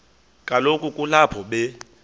kaloku kulapho be